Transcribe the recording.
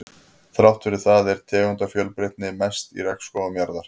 Þrátt fyrir það er tegundafjölbreytnin mest í regnskógum jarðarinnar.